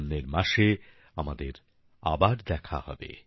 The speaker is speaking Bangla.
সামনের মাসে আমাদের আবার দেখা হবে